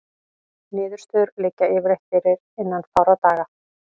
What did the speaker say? Niðurstöður liggja yfirleitt fyrir innan fárra daga.